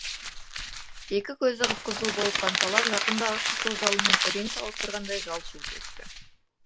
екі көзі қып қызыл боп қанталап жақындағы қызыл жалынмен ірең салыстырғандай жалт жұлт етті